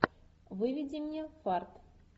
выведи мне фарт